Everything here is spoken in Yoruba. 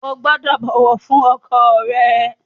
O gbúdọ̀ bọ̀wọ̀ fún ọkọ rẹ!